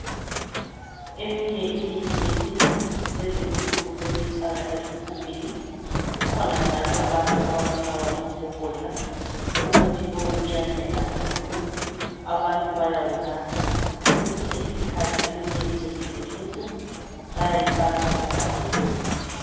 Eminye imithi yesintu kulezi insuku sebewufaka ezigubhini. Kukhona njalo abantu ababulawa ngogogodla, umuthi lo uyancedisa kakhulu, abantu bayayunatha. Kwesinye isikhathi eminye imithi yesintu bayayifaka emagabheni.